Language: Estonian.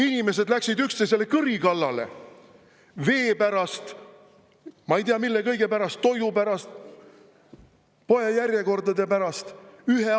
Inimesed läksid üksteisele kõri kallale vee pärast, ma ei tea, mille kõige pärast, toidu pärast, poejärjekordade pärast!